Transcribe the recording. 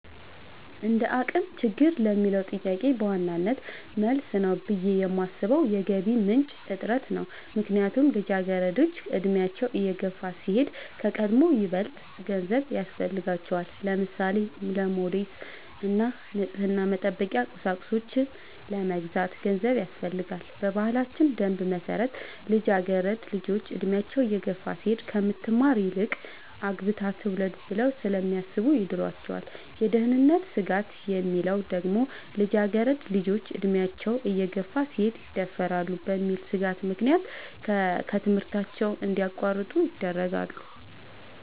እንደአቅም ችግር ለሚለው ጥያቄ በዋናነት መልስ ነው ብሌ የማሥበው የገቢ ምንጭ እጥረት ነው። ምክንያቱም ልጃገረዶች አድሚያቸው እየገፋ ሲሄድ ከቀድሞው ይበልጥ ገንዘብ ያሥፈልጋቸዋል። ለምሳሌ:-ለሞዴስ እና ንፅህናን መጠበቂያ ቁሳቁሶች ለመግዛት ገንዘብ ያሥፈልጋል። በባህላችን ደንብ መሠረት ልጃገረድ ልጆች እድሚያቸው እየገፋ ሲሄድ ከምትማር ይልቅ አግብታ ትውለድ ብለው ስለሚያሥቡ ይድሯቸዋል። የደህንነት ስጋት የሚለው ደግሞ ልጃገረድ ልጆች አድሚያቸው እየገፋ ሲሄድ ይደፈራሉ በሚል ሥጋት ምክንያት ከትምህርታቸው እንዲያቋርጡ ይደረጋሉ።